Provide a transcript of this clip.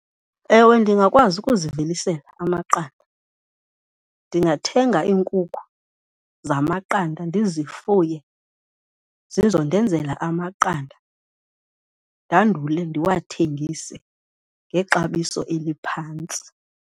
Ewe, ndingakwazi ukuzivelisela amaqanda. Ndingathenga iinkukhu zamaqanda ndizifuye zizondenzela amaqanda, ndandule ndiwathengise ngexabiso eliphantsi.